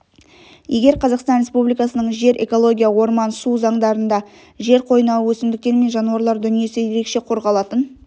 егер қазақстан республикасының жер экология орман су заңдарында жер қойнауы өсімдіктер мен жануарлар дүниесі ерекше қорғалатын